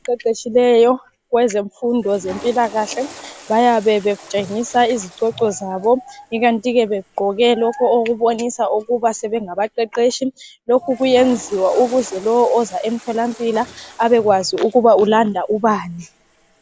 abaqheqetshileyo abezemfundo zempilakahle bayabe betshengisa izicoco zabo ikantike begqoke lokho okubonisa kuthi sebengaba qheqhetshi lokho kuyenziwa ukuze lo oza komtholampilo ubekwazi ukuba ulanda ubani